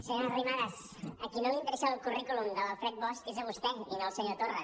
senyora arrimadas a qui no li interessa el currículum de l’alfred bosch és a vostè i no al senyor torra